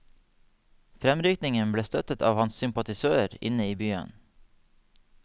Fremrykningen ble støttet av hans sympatisører inne i byen.